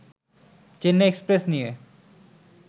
Chennai express' নিয়ে